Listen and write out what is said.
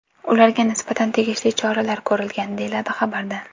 Ularga nisbatan tegishli choralar ko‘rilgan, deyiladi xabarda.